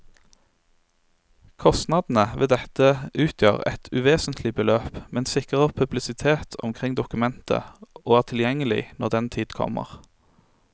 Kostnadene ved dette utgjør et uvesentlig beløp, men sikrer publisitet omkring dokumentet og er tilgjengelig når den tid kommer.